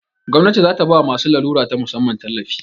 Gwamnati zata bawa masu larura ta musamman tallafi